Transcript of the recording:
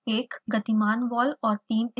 एक गतिमान वॉल और this स्थिर वॉल्स